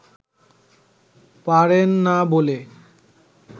পারেন না বলে